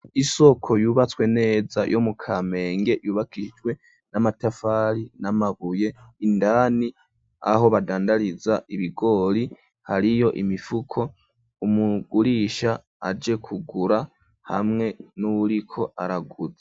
Isoko yubatswe neza yo mu Kamenge yubakihijwe n'amatafari n'amabuye, indani aho badandariza ibigori hariyo imifuko, umugurisha aje kugura hamwe n'uriko araguza.